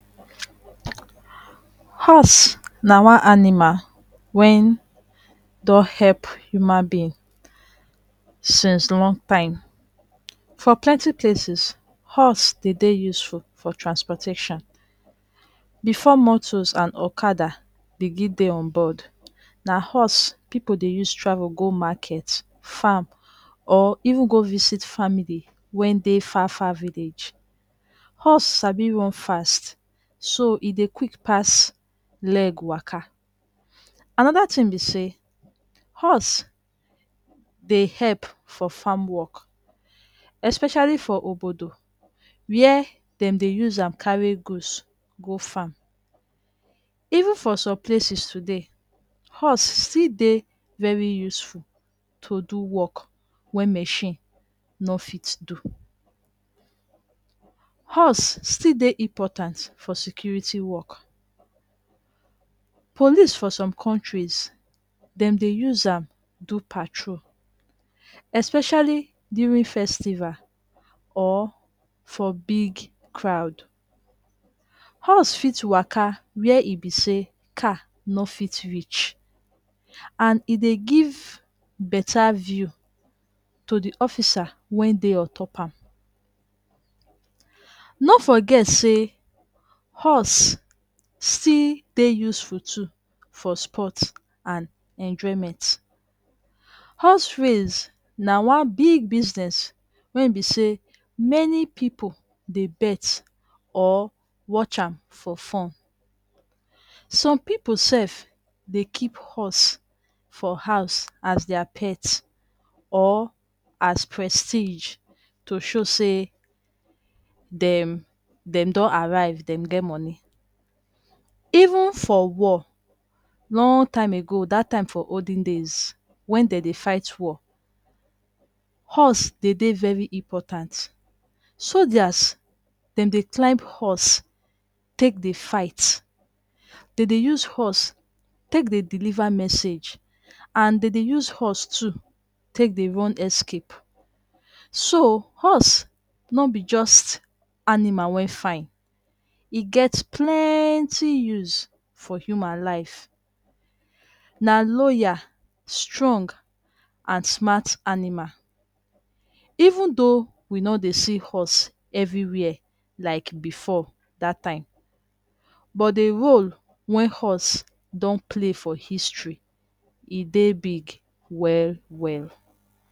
Horse na one animal wen don hep human being since long time. For plenty places, horse dey dey useful for transportation. Before motos and okada begin dey onboard, na horse pipu dey use travel for market, farm or even go visit family wen dey far far village. Horse sabi run fast so e dey quick pass leg waka. Anoda tin be say horse dey help for farm work especially for obodo wey dem dey use carry goods go farm. Even for some places today, horse still dey very useful to do work wey machine no fit do. Horse still dey important for security work. Police for some countries dem dey use am do patrol especially during festival or for big crowd. Horse fit waka wey e be say car no fit reach and e dey give better view to di officer wen dey on top am. No forget say horse still dey useful too for sports and enjoyment. Horse race na one big business wen be say many pipu dey bet or watch am for fun. Some pipu sef dey keep horse for house as their pet or prestige to show say dem dem don arrive dem get money. Even for war long time ago dat time for olden days wen dem dey fight war horse dey dey very important. Soljas dem dey climb horse take dey fight. Dey dey use horse take dey deliver message. And dey dey use horse too take dey run escape. So horse no be just animal wey fine, e get plenty use for human life. Na loyal, strong, and smart animal. Even though we no dey see horse evriwere like before dat time, but di role wey horse don play for history e dey big well well